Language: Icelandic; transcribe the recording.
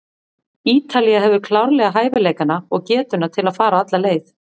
Ítalía hefur klárlega hæfileikana og getuna til að fara alla leið.